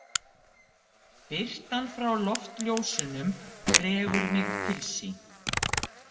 Birtan frá loftljósunum dregur mig til sín.